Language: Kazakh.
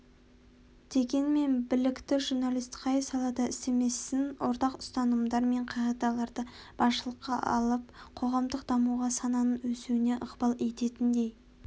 дегенмен білікті журналист қай салада істемесін ортақ ұстанымдар мен қағидаларды басшылыққа алып қоғамдық дамуға сананың өсуіне ықпал ететіндей